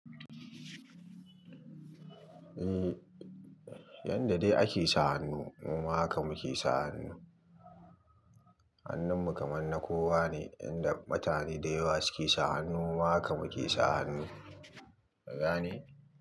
Eh, yanda dai ake sa hannu muma haka muke sa hannu. Hannun mu kamar na kowa ne, yanda mutane da yawa suke sa hannu muma haka muke sa hannu. Ka gane?